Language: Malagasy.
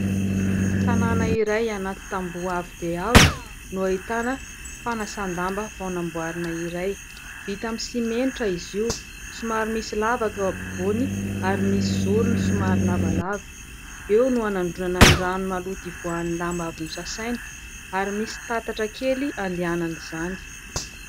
Tanàna iray anaty tamboho avo dia avo no ahitana fanasan-damba vao namboarina iray. Vita amin'ny simenitra izy io, somary misy lavaka eo ampovoany ary misy zorony somary lavalava ; eo no hanandronana ny rano maloto ivoahan'ny lamba avy nosasaina ary misy tatatra kely handehanan'izany.